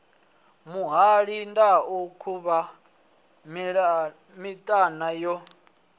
muhali ndau khuvha miṱana yo